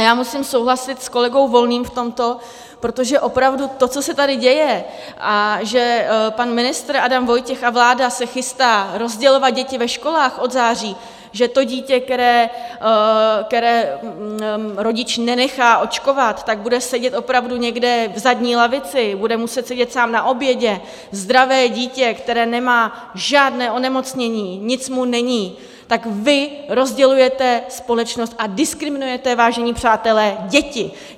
A já musím souhlasit s kolegou Volným v tomto, protože opravdu to, co se tady děje, a že pan ministr Adam Vojtěch a vláda se chystá rozdělovat děti ve školách od září, že to dítě, které rodič nenechá očkovat, že bude sedět opravdu někde v zadní lavici, bude muset sedět sám na obědě, zdravé dítě, které nemá žádné onemocnění, nic mu není, tak vy rozdělujete společnost a diskriminujete, vážení přátelé, děti!